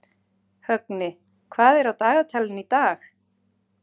Högni, hvað er á dagatalinu í dag?